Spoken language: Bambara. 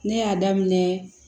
Ne y'a daminɛ